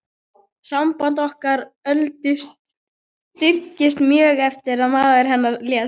Samband okkar Öldu styrktist mjög eftir að maður hennar lést.